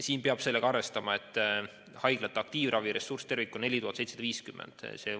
Siin peab arvestama sellega, et haiglate aktiivraviressurss tervikuna on mõeldud 4750 patsiendile.